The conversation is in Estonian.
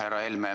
Härra Helme!